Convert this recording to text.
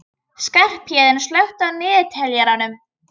Skarphéðinn, slökktu á niðurteljaranum.